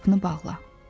Qapını bağla.